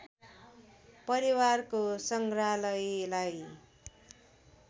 परिवारको सङ्ग्रहालयलाई